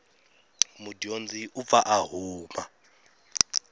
mudyondzi u pfa a huma